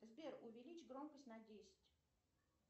сбер увеличь громкость на десять